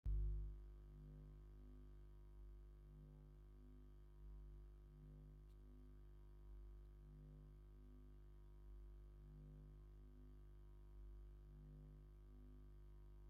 ኣብ በቅሊ ዝደየበ ሓደ ሰብ ባንዲራ ትግራይ ሒዙ ይንበልብል ኣሎ ። እታ በቅሊ ባንዲራ ትግራይ ኣብ ሙሉእ ሰውነታ ትሳኢላ ኣላ ።